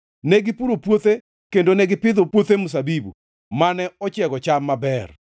Ne gipuro puothe kendo ne gipidho puothe mzabibu, mane ochiego cham maber;